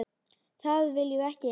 Það viljum við ekki.